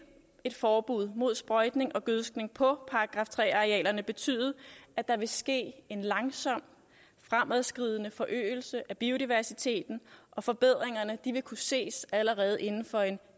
et forbud mod sprøjtning og gødskning på § tre arealerne betyde at der vil ske en langsom fremadskridende forøgelse af biodiversiteten og forbedringerne vil kunne ses allerede inden for